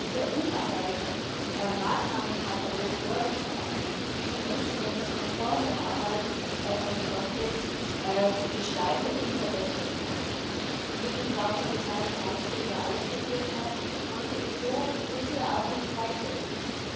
Wir haben einen sehr umfangreichen Maßnahmenkatalog vorgeschlagen, wie die menschenrechtskonforme Arbeit von FRONTEX gestaltet und verbessert werden kann. Wie Frau Kommissarin Malmström ausgeführt hat, konnte es so wie bisher auch nicht weitergehen.